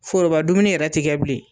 Foroba dumuni yɛrɛ ti kɛ bilen